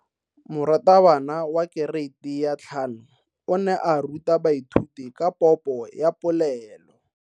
Moratabana wa kereiti ya 5 o ne a ruta baithuti ka popo ya polelo.